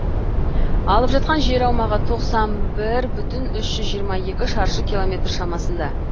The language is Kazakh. алып жатқан жер аумағы тоқсан бір бүтін үш жүз жиырма жеті шаршы километр шамасында